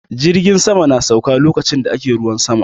Jirgin sama na sauka lokacin da ake ruwan sama